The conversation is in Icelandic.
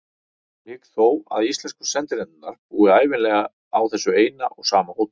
Ég hygg þó að íslensku sendinefndirnar búi ævinlega á þessu eina og sama hóteli.